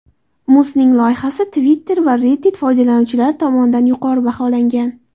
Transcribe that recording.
Musning loyihasi Twitter va Reddit foydalanuvchilari tomonidan yuqori baholangan.